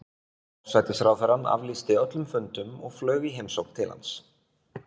Forsætisráðherrann aflýsti öllum fundum og flaug í heimsókn til hans.